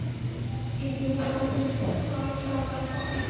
Yrði hún ófrísk var það bara gott.